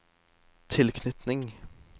tilknytning